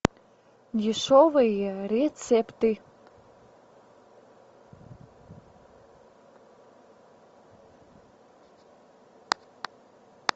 дешевые рецепты